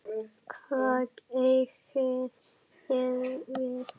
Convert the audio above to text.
Hvað eigið þið við?